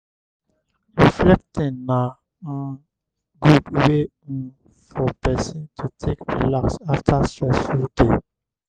reflecting na um good wey um for person to take relax after stressful day